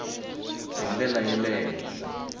hi ndlela ya le henhla